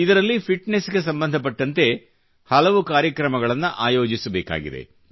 ಇದರಲ್ಲಿ ಫಿಟ್ನೆಸ್ ಗೆ ಸಂಬಂಧಪಟ್ಟಂತೆ ಹಲವುಉ ಕಾರ್ಯಕ್ರಮಗಳನ್ನು ಆಯೋಜಿಸಬೇಕಾಗಿದೆ